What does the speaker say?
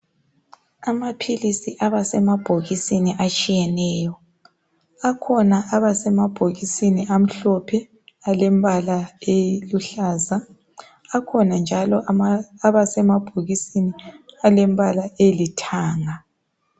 Amapilisi abasema bhokisini etshiyeneyo. Akhona abasemabhokisini amhlophe alembala eluhlaza, akhona njalo abasembabhokisini alombala olithanga.